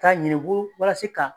Ka ɲini bolo walasi ka